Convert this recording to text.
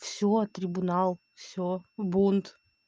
все трибунал все бунт